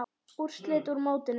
Úrslit úr mótinu